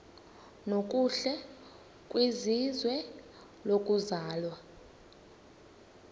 nokuhle kwizwe lokuzalwa